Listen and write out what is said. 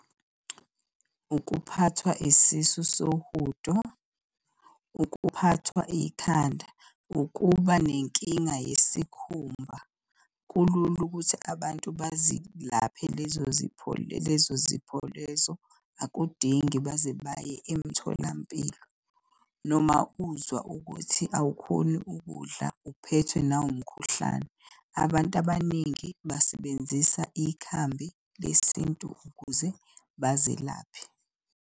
Ukuphathwa isisu sohudo, ukuphathwa ikhanda, ukuba nenkinga yesikhumba. Kulula ukuthi abantu bazilaphe lezo zipho lezo zipho lezo, akudingi baze baye emtholampilo. Noma uzwa ukuthi awukhoni ukudla, uphethwe nawumkhuhlane. Abantu abaningi basebenzisa ikhambi lesintu ukuze bazelaphe.